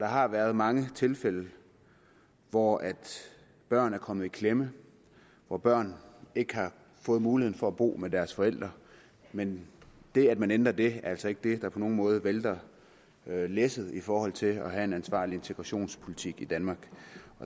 har været mange tilfælde hvor børn er kommet i klemme hvor børn ikke har fået muligheden for at bo med deres forældre men det at man ændrer det er altså ikke det der på nogen måde vælter læsset i forhold til at have en ansvarlig integrationspolitik i danmark